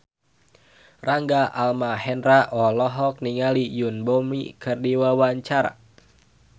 Rangga Almahendra olohok ningali Yoon Bomi keur diwawancara